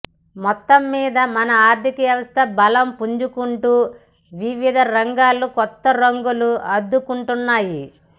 మొత్తమ్మీద మన ఆర్థిక వ్యవస్థ బలం పుంజుకుంటూ వివిధ రంగాలు కొత్త రంగులు అద్దుకుంటున్నాయి